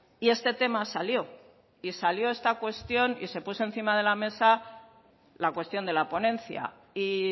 y este tema salió y salió esta cuestión y se puso encima de la mesa la cuestión de la ponencia y